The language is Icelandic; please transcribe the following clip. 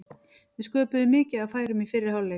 Við sköpuðum mikið af færum í fyrri hálfleik.